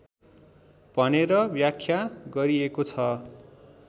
भनेर व्याख्या गरिएको छ